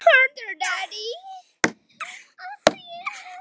Hún var full af mjólk!